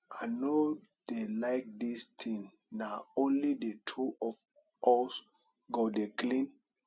i no dey like dis thing na only the two of us go dey clean